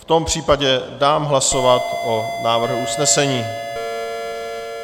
V tom případě dám hlasovat o návrhu usnesení.